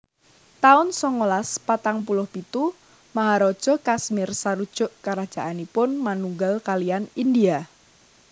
taun songolas patang puluh pitu Maharaja Kashmir sarujuk karajaanipun manunggal kaliyan India